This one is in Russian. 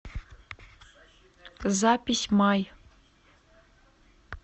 запись май